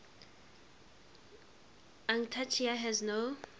antarctica has no